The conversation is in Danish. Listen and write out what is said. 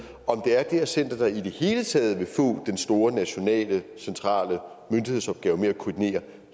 og det er det her center der i det hele taget vil få den store nationale centrale myndighedsopgave med at koordinere